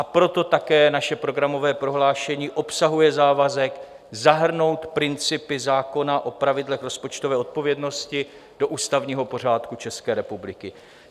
A proto také naše programové prohlášení obsahuje závazek zahrnout principy zákona o pravidlech rozpočtové odpovědnosti do ústavního pořádku České republiky.